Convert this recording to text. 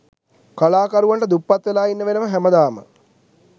කලාකරුවන්ට දුප්පත් වෙලා ඉන්න වෙනව හැමදාම.